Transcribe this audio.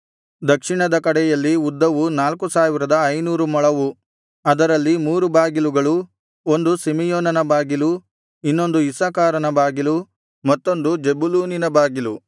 ದಕ್ಷಿಣದ ಕಡೆಯಲ್ಲಿ ಉದ್ದವು ನಾಲ್ಕು ಸಾವಿರದ ಐನೂರು ಮೊಳವು ಅದರಲ್ಲಿ ಮೂರು ಬಾಗಿಲುಗಳು ಒಂದು ಸಿಮೆಯೋನನ ಬಾಗಿಲು ಇನ್ನೊಂದು ಇಸ್ಸಾಕಾರನ ಬಾಗಿಲು ಮತ್ತೊಂದು ಜೆಬುಲೂನಿನ ಬಾಗಿಲು